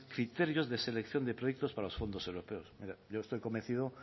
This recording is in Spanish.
criterios de selección de proyectos para los fondos europeos mire yo estoy convencido